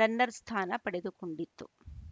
ರನ್ನರ್‌ಸ್ಥಾನ ಪಡೆದುಕೊಂಡಿತ್ತು